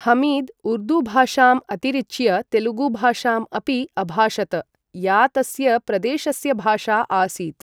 हमीद् उर्दूभाषाम् अतिरिच्य तेलुगुभाषाम् अपि अभाषत, या तस्य प्रदेशस्य भाषा आसीत्।